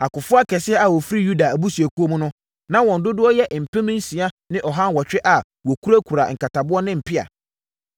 Akofoɔ akɛseɛ a wɔfiri Yuda abusuakuo mu no, na wɔn dodoɔ yɛ mpem nsia ne aha nwɔtwe a wɔkurakura nkataboɔ ne mpea.